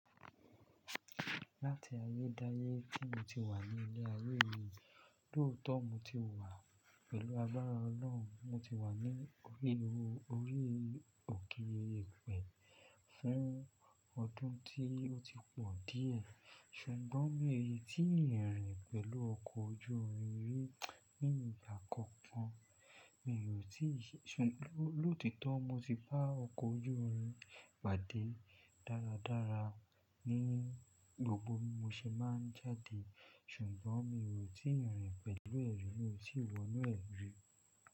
Láti ayé dáyé tí mo ti wà ní ilé ayé yìí, lóòótọ́ mo ti wà pẹ̀lú agbára Ọlọ́run. Mo ti wà ní orí o-orí òkè Ìpè fún ọdún tí ó ti pọ̀ díẹ̀. Ṣùgbọ́n mi n tí rin rìn pẹ̀lú ọkọ̀ ojú irin rí ní ìgbà kankan. Mi ò tí ì ṣe-- lòtítọ́ mo ti bá ọkọ̀ ojú irin pàdé dáradára ní gbogbo bí mo ṣe máa ń jáde, ṣùgbọ́n mi ò rí tíi rìn pẹ̀lú ẹ̀ rí, mi ò tì wọnú ẹ̀ rí.